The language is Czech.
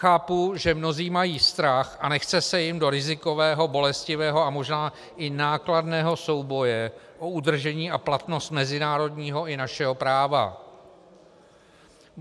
Chápu, že mnozí mají strach a nechce se jim do rizikového, bolestivého a možná i nákladného souboje o udržení a platnost mezinárodního i našeho práva.